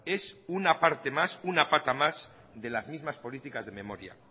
es una parte más una pata más de las mismas políticas de memoria